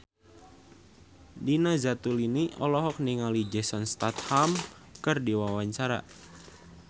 Nina Zatulini olohok ningali Jason Statham keur diwawancara